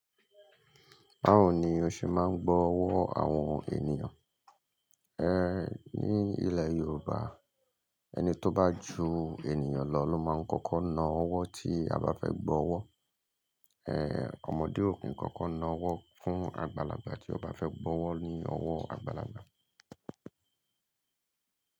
Báwo ni o ṣe máa ń gbọ́ ọ̀wọ́ àwọn ènìyàn? Ẹ̀ ní ilẹ̀ Yorùbá ẹni tó bá ju ènìyàn lọ ló máa ń kọ́kọ́ na ọ̀wọ́ tí a bá fẹ́ gbọ́ ọ̀wọ́. Ẹ̀ ọmọdé ò kí ń kọ́kọ́ na ọ̀wọ́ fún àgbàlagbà tí ọba fẹ́ gbọ́ ọ̀wọ́ ní ọ̀wọ́ àgbàlagbà.